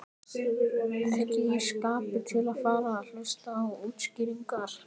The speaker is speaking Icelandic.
Ekki í skapi til að fara að hlusta á útskýringar.